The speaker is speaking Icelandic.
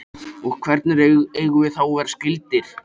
Og hvernig eigum við þá að vera skyldir?